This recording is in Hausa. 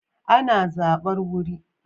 Ana zabar wuri